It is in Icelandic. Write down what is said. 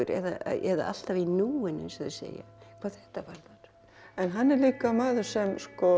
eða alltaf í núinu eins og þau segja hvað þetta varðar en hann er líka maður sem